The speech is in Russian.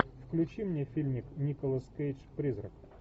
включи мне фильмик николас кейдж призрак